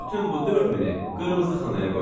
Bütün bu 4000-i qırmızı xanaya qoy.